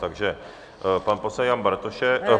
Takže pan poslanec Jan Bartošek...